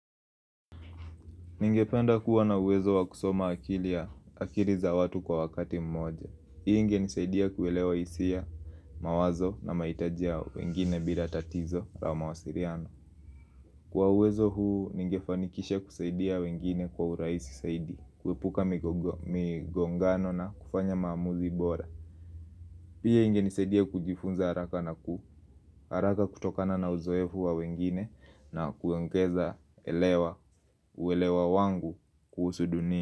Ningependa kuwa na uwezo wa kusoma akili ya akili za watu kwa wakati mmoja. Hii ingenisaidia kuelewa hisia mawazo na mahitajia ya wengine bila tatizo ua mawasiliano. Kwa uwezo huu ningefanikisha kusaidia wengine kwa urahisi zaidi, kuepuka migongano na kufanya maamuzi bora. Pia ingenisaidia kujifunza haraka na ku, haraka kutokana na uzoefu wa wengine na kuongeza elewa uwelewa wangu kuhusu dunia.